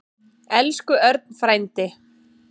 Elsku Örn frændi.